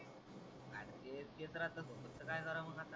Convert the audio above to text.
तेच येत राहत सोबत तर काय कारव मग आता